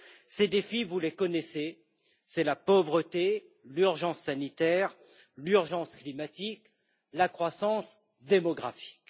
Ces défis, vous les connaissez, c'est la pauvreté, l'urgence sanitaire, l'urgence climatique ou encore la croissance démographique.